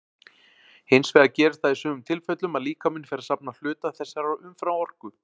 Hins vegar gerist það í sumum tilfellum að líkaminn fer að safna hluta þessarar umframorku.